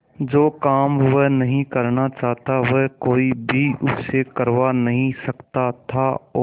जो काम वह नहीं करना चाहता वह कोई भी उससे करवा नहीं सकता था और